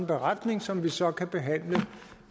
beretning som vi så kan behandle